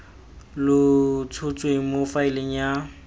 lo tshotsweng mo faeleng ya